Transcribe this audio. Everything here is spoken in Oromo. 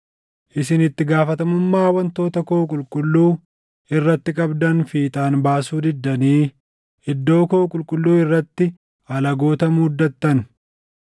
Isin itti gaafatamummaa wantoota koo qulqulluu irratti qabdan fiixaan baasuu diddanii iddoo koo qulqulluu irratti alagoota muuddatan.